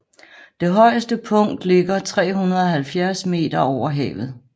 Det højeste punkt ligger 370 meter over havet